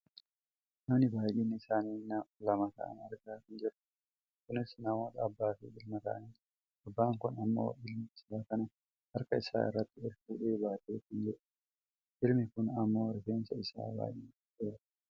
nama baayyinni isaanii lama ta'an argaa kan jirrudha. kunis namoota abbaaf ilma ta'anidha. abbaan kun ammoo ilma isaa kana harka isaa irratti ol fuudhee baatee kan jirudha. ilmi kun ammoo rifeensi isaa baayyee dhedheeraadha.